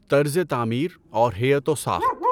طرزِ تعمیر اور ہیئت و ساخت